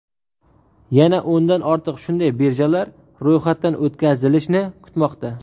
Yana o‘ndan ortiq shunday birjalar ro‘yxatdan o‘tkazilishni kutmoqda.